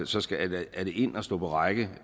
så skal man ind og stå på række